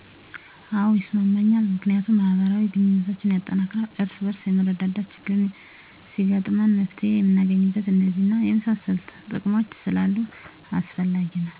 አዎ ይስማማኛል ምክንያቱም ማህበራዊ ግንኙነቶችን ያጠናክራል፣ እርስ በርስ መረዳዳትን፣ ችግር ሲገጥመንም መፍትሔ የምናገኝበት፣ እነዚህን እና የመሳሰሉትን ጥቅሞች ስላሉት አስፈላጊ ነዉ